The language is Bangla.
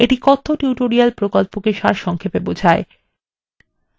এটি কথ্য tutorial প্রকল্পকে সারসংক্ষেপে বোঝায়